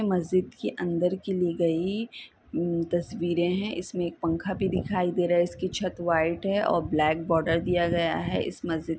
मस्जिद के अंदर की ली गई तस्वीरे है इसमे एक पंखा भी दिखाई दे रहा है इसकी छत व्हाइट है और ब्लैक बार्डर दिया गया है इस मस्जिद की--